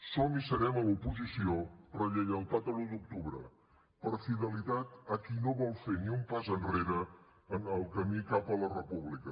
som i serem a l’oposició per lleialtat a l’un d’octubre per fidelitat a qui no vol fer ni un pas enrere en el camí cap a la república